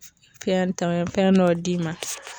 Fɛn tɛmɛ fɛn dɔ d'i ma